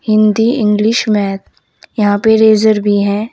Hindi English math यहां पे razor भी है।